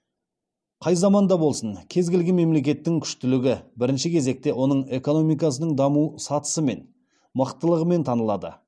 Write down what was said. қай заманда болсын кез келген мемлекеттің күштілігі бірінші кезекте оның экономикасының даму сатысымен мықтылығымен танылады